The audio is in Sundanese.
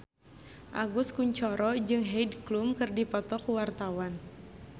Agus Kuncoro jeung Heidi Klum keur dipoto ku wartawan